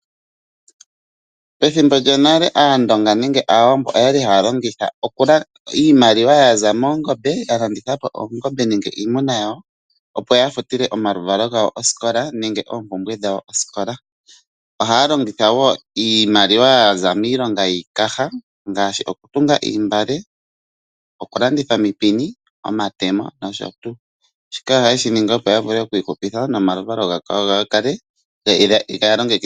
Pethimbo lyonale Aandonga nenge Aawambo oyali haya longitha iimaliwa ya za moongombe ya landitha po oongombe nenge iimuna yawo opo ya futile omaluvalo gawo osikola nenge oompumbwe dhawo osikola. Ohaya longitha wo iimaliwa ya za miilonga yiikaha ngaashi okutunga oontungwa, okulanditha omipini, omatemo nosho tuu. Shika ohaye shi ningi opo ya vule oku ihupitha nomaluvalo gawo ga kale ga longekidhwa.